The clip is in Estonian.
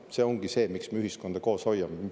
See ongi see, miks me ühiskonda koos hoiame.